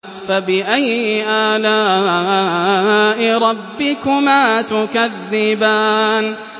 فَبِأَيِّ آلَاءِ رَبِّكُمَا تُكَذِّبَانِ